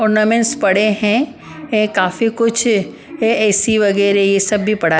ornaments पड़े हैं काफी कुछ ए_सी वगैरह ये सब भी पड़ा --